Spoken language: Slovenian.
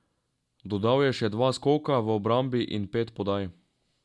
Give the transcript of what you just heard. Dodal je še dva skoka v obrambi in pet podaj.